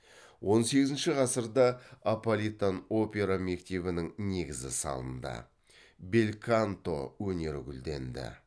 он сегізінші ғасырда аполитан опера мектебінің негізі салынды бельканто өнері гүлденді